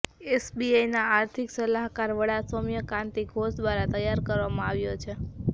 એસબીઆઈના આર્થિક સલાહકાર વડા સૌમ્યા કાંતિ ઘોષ દ્વારા તૈયાર કરવામાં આવ્યો છે